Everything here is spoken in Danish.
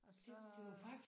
Og så